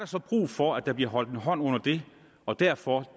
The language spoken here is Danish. så brug for at der bliver holdt en hånd under det og derfor